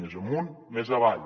més amunt més avall